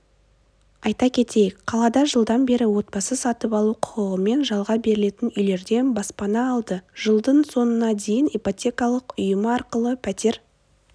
айта кетейік қалада жылдан бері отбасы сатып алу құқығымен жалға берілетін үйлерден баспана алды жылдың соңына дейін ипотекалық ұйымы арқылы птер